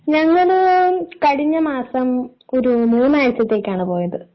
ഞങ്ങള് കഴിഞ്ഞ മാസം ഒരു മൂന്നാഴ്ചത്തേക്കാണ് പോയത്.